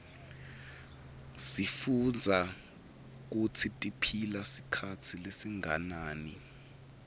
sifuitbza kutsitiphila sikhatsi lesinganani